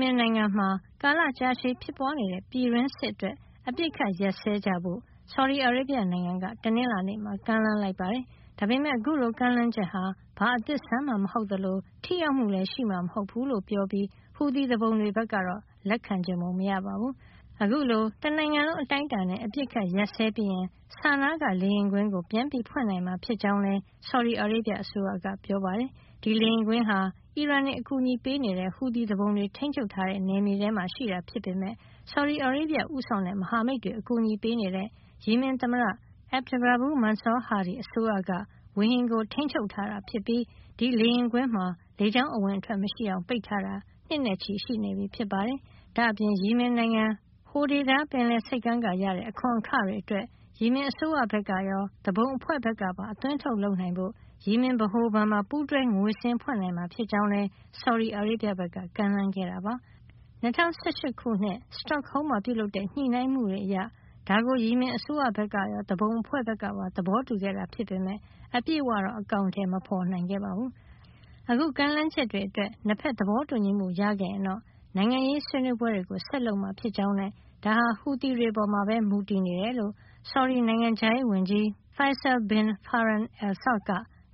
မင်နိုင်ငံမှာ ကာလကြာရှည် ဖြစ်ပွားနေတဲ့ ပြည်တွင်းစစ်အတွက် အပစ်အခတ်ရပ်စဲကြဖို့ ဆော်ဒီအာရေဗျ နိုင်ငံက တနင်္လာနေ့မှာ ကမ်းလှမ်းလိုက်ပါတယ်။ ဒါပေမယ့် အခုလို ကမ်းလှမ်းချက်ဟာ ဘာမှ အသစ်အဆန်းမဟုတ်သလို ထိရောက်မှုလည်း ရှိမှာ မဟုတ်ဖူးလို့ ပြောကြားပြီး ဟူသီသူပုန်တွေ ဘက်က လက်ခံချင်ပုံ မရပါဘူး။ အခုလို တနိုင်ငံလုံး အတိုင်းအတာနဲ့ အပစ်အခတ်ရပ်စဲပြီးရင် Sana က လေယာဉ်ကွင်းကို ပြန်ဖွင့်နိုင်မှာ ဖြစ်ကြောင်းလည်း ဆော်ဒီအာရေဗျအစိုးရက ပြောပါတယ်။ ဒီလေယာဉ်ကွင်းဟာ အီရန်တွေအကူညီပေးနေတဲ့ ဟူသီသူပုန်တွေ ထိန်းချုပ်ထားတဲ့ နယ်မြေထဲမှာ ရှိတာဖြစ်ပေမယ့် ဆော်ဒီအာရေဗျ ဦးဆောင်တဲ့ မဟာမိတ်တွေ အကူညီပေးနေတဲ့ ယီမင်သမ္မတ Abd Rabbu Mansour Hadi အစိုးရက ဝေဟင်ကို ထိန်းချုပ်ထားတာ ဖြစ်ပြီး ဒီလေယာဉ်ကွင်းမှာ လေကြောင်းအဝင်အထွက် မရှိအောင် ပိတ်ထားတာ နှစ်နဲ့ချီနေပြီဖြစ်ပါတယ်။ ဒါ့အပြင် ယီမင်နိုင်ငံ Hodeidah ပင်လယ်ဆိပ်ကမ်းက ရတဲ့ အခွန်အခတွေအတွက် ယီမင်အစိုးရဘက်ကရော သူပုန်အဖွဲ့ဘက်ကပါ အသွင်းအထုတ်လုပ်နိုင်ဖို့ ယီမင်ဗဟိုဘဏ်မှာ ပူးတွဲငွေစာရင်း ဖွင့်နိုင်မှာ ဖြစ်ကြောင်းလည်း ဆော်ဒီအာရေဗျဘက်က ကမ်းလှမ်းခဲ့တာပါ။ ၂၀၁၈ ခုနှစ် Stockholm မှာ ပြုလုပ်တဲ့ ညှိနှိုင်းမှုတွေ အရ ဒါကို ယီမင်အစိုးရဘက်ကရော သူပုန်အဖွဲ့ဘက်ကပါ သဘောတူခဲ့တာ ဖြစ်ပေမယ့် အပြည့်အဝတော့ အကောင်ထည် မဖေါ်နိုင်ခဲ့ပါဘူး။ အခု ကမ်းလှမ်းချက်တွေ အတွက် ၂ ဖက် သဘောတူညီမှု ရခဲ့ရင်တော့ နိုင်ငံရေးဆွေးနွေးပွဲတွေ ဆက်လုပ်မှာ ဖြစ်ကြောင်း နဲ့ ဒါဟာ ဟူသီတွေ အပေါ်မှာပဲ မူတည်တယ်လို့ ဆော်ဒီနိုင်ငံခြားရေးဝန်ကြီး Faisal bin Farhan Al Saud က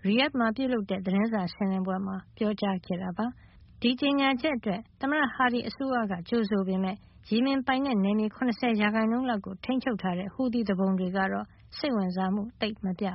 Riyadh မှာ ပြုလုပ်တဲ့ သတင်းစာရှင်းလင်း ပွဲမှာ ပြောကြားခဲ့တာပါ။ ဒီကြေညာချက်အတွက် သမ္မတ Hadi အစိုးရက ကြိုဆိုခဲ့ပေမယ့် ယီမင်ပိုင်နက်မြေ ၇၀ % လောက်ကိုထိမ်းချုပ်ထားတဲ့ ဟူသီသူပုန်တွေကတော့ စိတ်ဝင်စားမှု သိပ်မပြ